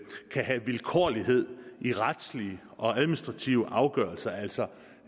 kan have vilkårlighed i retslige og administrative afgørelser altså